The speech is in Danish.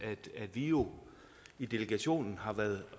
jo i delegationen har været